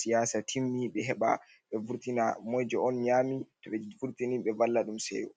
siyaasa timmi ɓe heɓa vurtina moijo, on nyami. To be vortini ɓe valla ɗum seyo